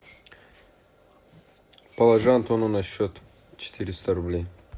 положи антону на счет четыреста рублей